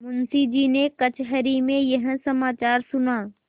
मुंशीजी ने कचहरी में यह समाचार सुना